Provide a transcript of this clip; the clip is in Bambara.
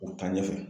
O taa ɲɛfɛ